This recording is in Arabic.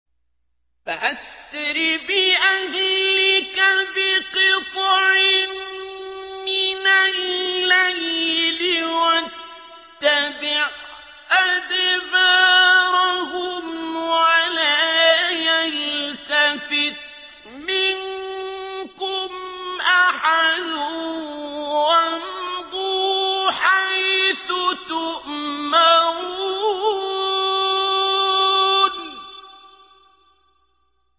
فَأَسْرِ بِأَهْلِكَ بِقِطْعٍ مِّنَ اللَّيْلِ وَاتَّبِعْ أَدْبَارَهُمْ وَلَا يَلْتَفِتْ مِنكُمْ أَحَدٌ وَامْضُوا حَيْثُ تُؤْمَرُونَ